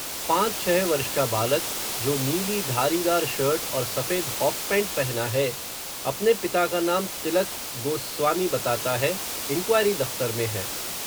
पाँच छ: वर्ष का बालक, जो नीली धारीदार शर्ट और सफ़ेद हॉफ़ पैण्ट पहना है, अपने पिता का नाम, तिलक गो स्वामी बताता है, इन्क्वायरी दफ़्तर में है